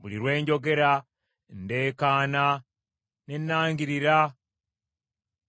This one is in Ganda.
Buli lwe njogera, ndeekaana ne nnangirira